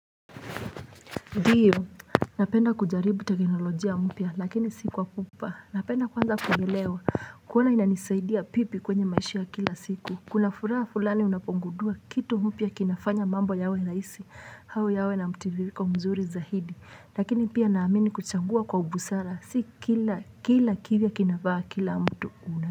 Ndiyo, napenda kujaribu teknolojia mpya lakini sikwa pupa Napenda kwanza kuelewa kuona inanisaidia vipi kwenye maishaya kila siku Kuna furaha fulani unapogundua kitu mpya kinafanya mambo yawe rahisi au yawe na mtiririko mzuri zaidi Lakini pia naamini kuchangua kwa busara si kila kila kivya kinafaa kila mtu.